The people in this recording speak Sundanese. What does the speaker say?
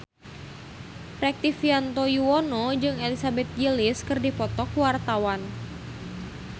Rektivianto Yoewono jeung Elizabeth Gillies keur dipoto ku wartawan